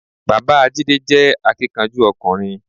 Bàbáa Jídé jé akíkanjú ọkùnrin